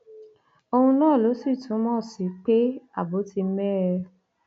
ohun náà ló sì túmọ sí pé ààbò ti mẹhẹ